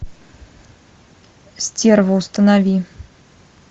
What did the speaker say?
стерва установи